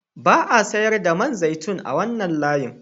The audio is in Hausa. Ba a sayar da man zaitun a wannan layin